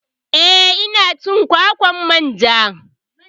Eh ina cin kwakwar manja